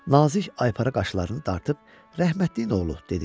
Nazik aypara qaşlarını dartıb, "Rəhmətliyin oğlu" dedi.